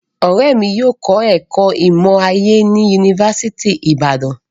Ọrẹ mi yóò kọ ẹkọ imọ-aye ni Yunifasiti ti Ibadan